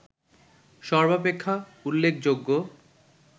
সর্বাপেক্ষা উল্লেখযোগ্য